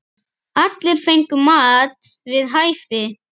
Allir fengu mat við hæfi.